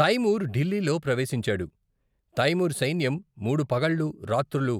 తైమూర్ ఢిల్లీలో ప్రవేశించాడు, తైమూర్ సైన్యం మూడు పగళ్లు, రాత్రులు